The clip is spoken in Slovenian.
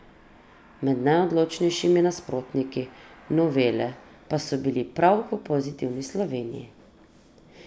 Med najodločnejšimi nasprotniki novele pa so bili prav v Pozitivni Sloveniji.